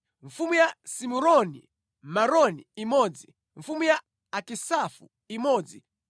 mfumu ya Simuroni Meroni imodzi mfumu ya Akisafu imodzi